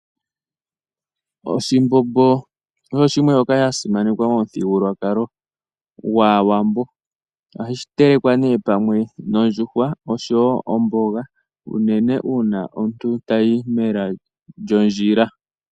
Oshimbombo oso shimwe shoka sha simanekwa momuthigululwakalo gwAawambo. Ohashi telekwa nee pamwe nondjuhwa oshowo omboga, unene uuna omuntu tayi mela lyondjila.